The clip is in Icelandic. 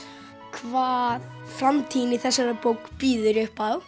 hvað framtíðin í þessari bók bíður upp á